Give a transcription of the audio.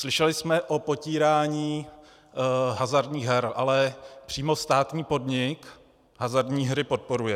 Slyšeli jsme o potírání hazardních her, ale přímo státní podnik hazardní hry podporuje.